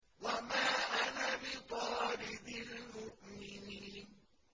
وَمَا أَنَا بِطَارِدِ الْمُؤْمِنِينَ